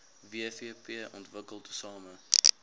wvp ontwikkel tesame